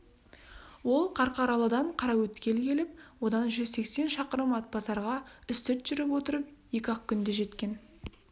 ол қарқаралыдан қараөткел келіп одан жүз сексен шақырым атбасарға үстірт жүріп отырып екі-ақ күнде жеткен